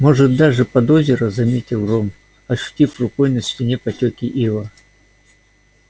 может даже под озеро заметил рон ощутив рукой на стене потеки ила